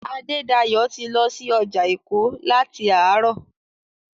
Adédayọ̀ ti lọ sí ọjà Èkó láti àárọ̀.